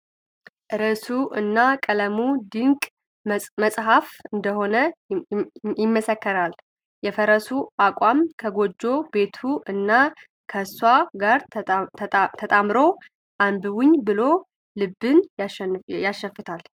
ርዕሱ እና ቀለሙ ድንቅ መፅሐፍ እንደሆነ ይመሰክራል ፤ የፈረሱ አቋቋም ከጎጆ ቤቱ እና ከእሷ ጋር ተዳምሮ አንብቡኝ ብሎ ልብን ያሸፍታል።